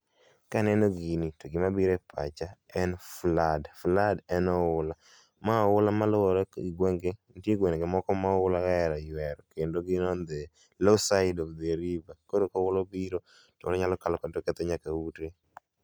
Kaneno gini to gima biro e pacha en flood. Flood en oula, ma oula maluor e gwenge, nitie gwenge moko ma oula oero ywero kendo gin e low side of the river. Koro oula obiro tonyalo kalo kod nyathi nyaka ute